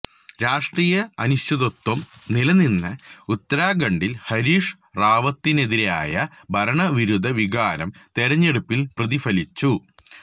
രാഷ്ട്രീയ അനിശ്ചിതത്വം നിലനിന്ന ഉത്തരാഖണ്ഡില് ഹരീഷ് റാവത്തിനെതിരായ ഭരണ വിരുദ്ധ വികാരം തെരഞ്ഞെടുപ്പില് പ്രതിഫലിച്ചു